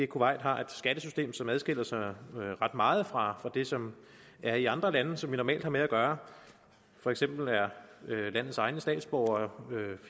kuwait har et skattesystem som adskiller sig ret meget fra det som er i andre lande som vi normalt har med at gøre for eksempel er landets egne statsborgere